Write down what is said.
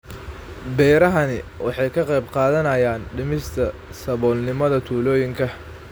Beerahani waxa ay ka qayb qaadanayaan dhimista saboolnimada tuulooyinka.